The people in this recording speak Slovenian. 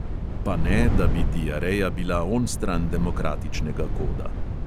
Pa ne, da bi diareja bila onstran demokratičnega koda.